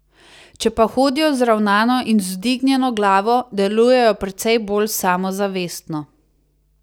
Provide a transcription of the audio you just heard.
Če pa hodijo vzravnano in z vzdignjeno glavo, delujejo precej bolj samozavestno.